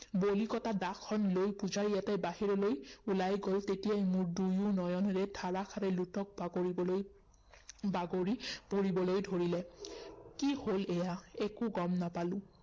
বলি কটা দাখন পূজাৰী এটাই বাহিৰলৈ ওলাই গল, তেতিয়াই মোৰ দুয়ো নয়নেৰে ধাৰাষাৰে লোতক বাগৰিবলৈ বাগৰি পৰিবলৈ ধৰিলে। কি হল এইয়া একো গম নাপালো